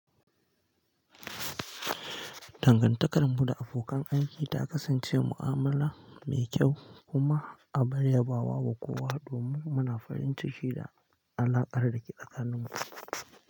Dangantakar mu da abokan aiki ta kasance mu'amala mai kyau, kuma a bari yabawa wa kowa domin muna farin ciki da alaƙar da ke tsakanin mu.